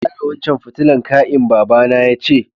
Ka gyara wancan fitilan kai'n, baba na ya ce.